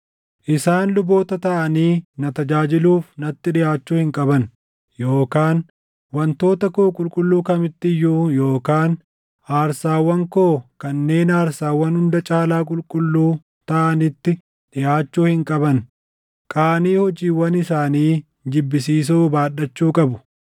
Isaan luboota taʼanii na tajaajiluuf natti dhiʼaachuu hin qaban yookaan wantoota koo qulqulluu kamitti iyyuu yookaan aarsaawwan koo kanneen aarsaawwan hunda caalaa qulqulluu taʼanitti dhiʼaachuu hin qaban; qaanii hojiiwwan isaanii jibbisiisoo baadhachuu qabu.